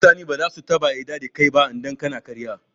mutane baza su taɓa yadda da kai ba idan kana ƙarya